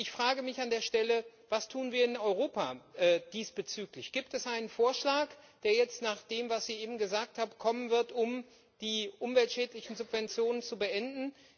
Ich frage mich an der Stelle Was tun wir diesbezüglich in Europa? Gibt es einen Vorschlag, der jetzt nach dem, was Sie eben gesagt haben, kommen wird, um die umweltschädlichen Subventionen zu beenden?